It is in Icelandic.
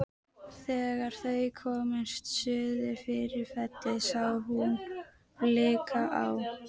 Þegar þau komust suður fyrir fellið sá hún blika á